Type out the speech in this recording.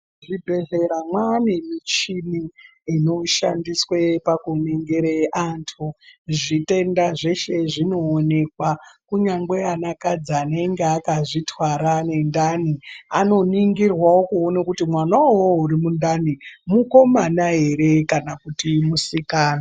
Mu zvibhehlera mwane muchini inoshandiswa paku ningire antu zvi tenda zveshe zvino onekwa kunyangwe anakadzi anenge akazvi twara ne ndani ano ningirwawo kuone kuti mwana iwowo uyi mundani mukomana ere kana kuti musikana.